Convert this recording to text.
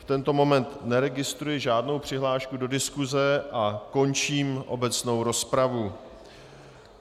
V tento moment neregistruji žádnou přihlášku do diskuse a končím obecnou rozpravu.